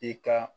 I ka